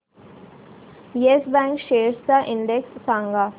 yes bank shares चा index सांगा